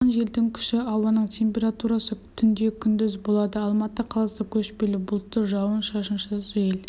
соққан желдің күші ауаның температурасы түнде күндіз болады алматы қаласы көшпелі бұлтты жауын-шашынсыз жел